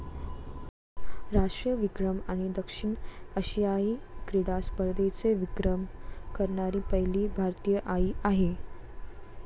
राष्ट्रीय विक्रम आणि दक्षिण आशियायी क्रिडा स्पर्धेचे विक्रम करणारी पहिली भारतीय आई आहे.